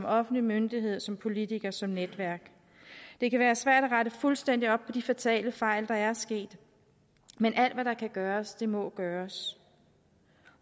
offentlig myndighed som politiker og som netværk det kan være svært at rette fuldstændig op på de fatale fejl der er sket men alt hvad der kan gøres må gøres